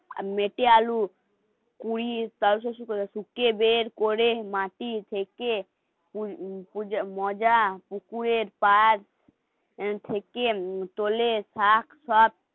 মেটে আলুর কুড়ি, করে মাটি থেকে মজা, পুকুরের পাট থেকে তোলে শাক সব